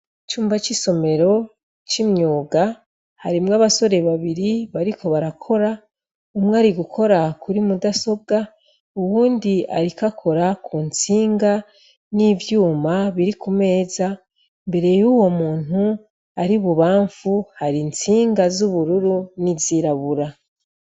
Icumba c'isomero c'imyuga ,harimwo abasore babiri bariko barakora ,umwe arigukora kuri mudasobwa uwundi ariko akora kuntsinga, n'ivyuma biri kumeza, mbere y'uwo muntu ari mububamfu ,har'intsinga z'ubururu n'izirabura.